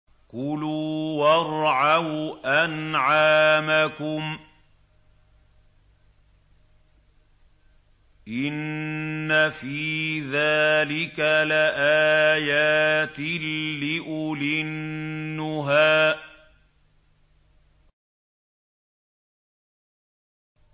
كُلُوا وَارْعَوْا أَنْعَامَكُمْ ۗ إِنَّ فِي ذَٰلِكَ لَآيَاتٍ لِّأُولِي النُّهَىٰ